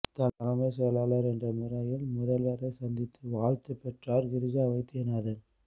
தலைமை செயலாளர் என்ற முறையில் முதல்வரை சந்தித்து வாழ்த்து பெற்றார் கிரிஜா வைத்தியநாதன்